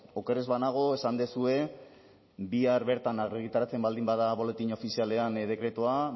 oker ez banago esan duzue bihar bertan argitaratzen baldin bada boletin ofizialean dekretua